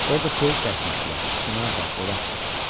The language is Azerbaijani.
Orda söyüd əkmişdilər, çinar da, qovaq da.